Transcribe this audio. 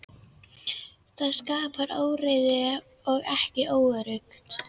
Það skapar óreiðu og er óöruggt.